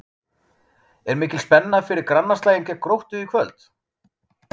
Er mikil spenna fyrir grannaslaginn gegn Gróttu í kvöld?